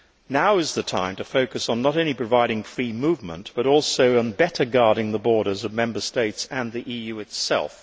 Now is the time to focus not only on providing free movement, but also on better guarding the borders of Member States and the EU itself.